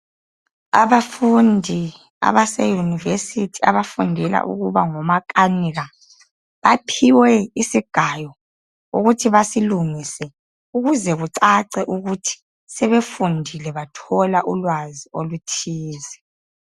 Abafundi abaseyunivesithi abafundela ukuba ngomakanika, baphiwe isigayo ukuthi basilungise ukuze kucace ukuthi sebefundile bathola ulwazi oluthize.